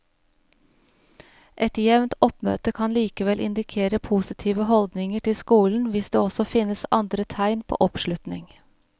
Et jevnt oppmøte kan likevel indikere positive holdninger til skolen hvis det også finnes andre tegn på oppslutning.